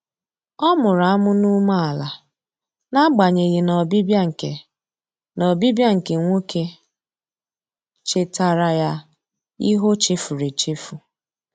Ọ mụrụ amụ n'umeala na agbanyeghị na ọbịbịa nke na ọbịbịa nke nwoke chetara ya ihe ochefuru echefu.